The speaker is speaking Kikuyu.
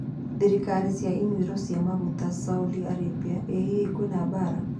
Tharĩka cia inyuĩro cia maguta Saudi Arabia: Ĩ hihi kwĩna mbaara?